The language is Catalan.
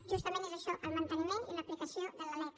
justament és això el manteniment i l’aplicació de la lec